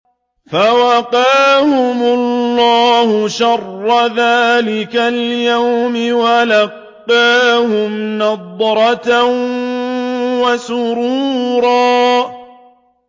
فَوَقَاهُمُ اللَّهُ شَرَّ ذَٰلِكَ الْيَوْمِ وَلَقَّاهُمْ نَضْرَةً وَسُرُورًا